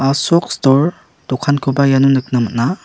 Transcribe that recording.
asok stor dokankoba iano nikna man·a.